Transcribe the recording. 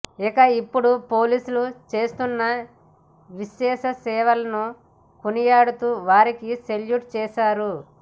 ఇక ఇప్పుడు పోలీసులు చేస్తున్న విశేష సేవలను కొనియాడుతూ వారికి సెల్యూట్ చేశారు